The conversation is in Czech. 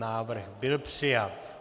Návrh byl přijat.